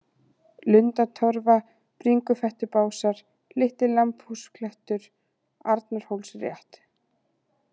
Lundatorfa, Bringufettubásar, Litli-Lambhúsklettur, Arnarhólsrétt